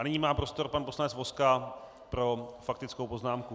A nyní má prostor pan poslanec Vozka pro faktickou poznámku.